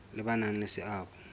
le ba nang le seabo